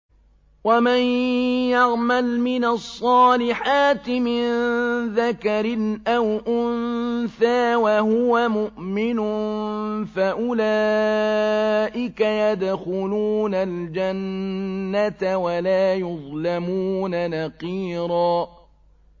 وَمَن يَعْمَلْ مِنَ الصَّالِحَاتِ مِن ذَكَرٍ أَوْ أُنثَىٰ وَهُوَ مُؤْمِنٌ فَأُولَٰئِكَ يَدْخُلُونَ الْجَنَّةَ وَلَا يُظْلَمُونَ نَقِيرًا